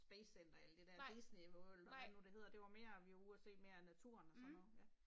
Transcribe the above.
Spacecenter alt det der Disneyworld og hvad nu det hedder det var mere vi var ude og se mere naturen og sådan noget ja